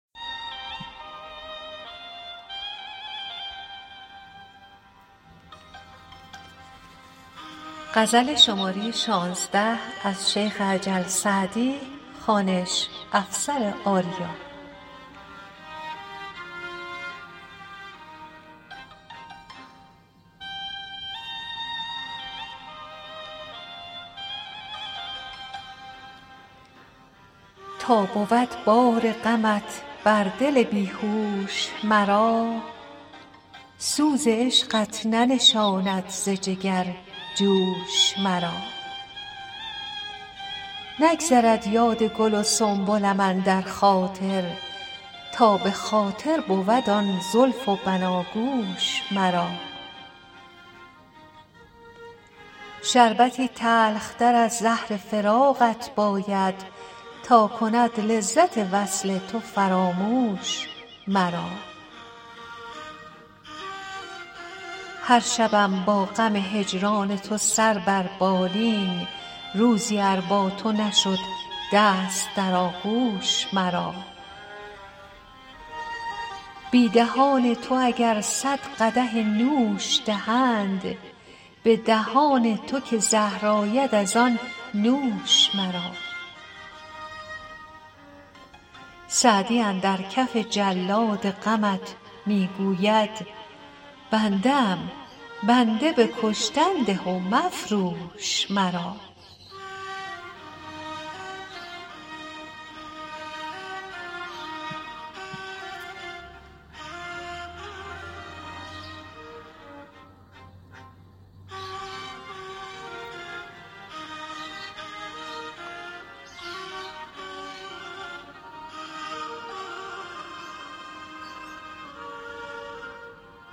تا بود بار غمت بر دل بی هوش مرا سوز عشقت ننشاند ز جگر جوش مرا نگذرد یاد گل و سنبلم اندر خاطر تا به خاطر بود آن زلف و بناگوش مرا شربتی تلختر از زهر فراقت باید تا کند لذت وصل تو فراموش مرا هر شبم با غم هجران تو سر بر بالین روزی ار با تو نشد دست در آغوش مرا بی دهان تو اگر صد قدح نوش دهند به دهان تو که زهر آید از آن نوش مرا سعدی اندر کف جلاد غمت می گوید بنده ام بنده به کشتن ده و مفروش مرا